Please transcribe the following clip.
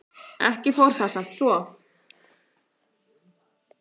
Ekki fór það samt svo.